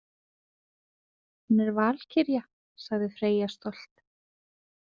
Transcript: Hún er valkyrja, sagði Freyja stolt.